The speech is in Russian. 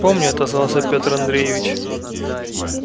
помню отозвался пётр андреевич